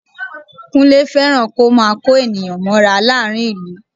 Kúnlé fẹ́ràn kó máa kó ènìyàn mọ́ra láàrín ìlú